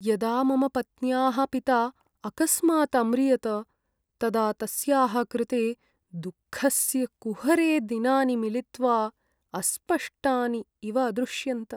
यदा मम पत्न्याः पिता अकस्मात् अम्रियत, तदा तस्याः कृते दुःखस्य कुहरे दिनानि मिलित्वा अस्पष्टानि इव अदृश्यन्त।